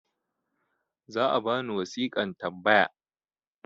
za a bani wasiƙan tambaya